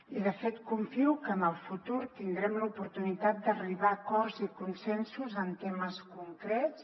i de fet confio que en el futur tindrem l’oportunitat d’arribar a acords i consensos en temes concrets